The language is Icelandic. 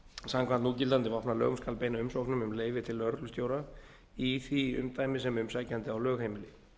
samkvæmt núgildandi vopnalögum skal beina umsóknum um leyfi til lögreglustjóra í því umdæmi sem umsækjandi á lögheimili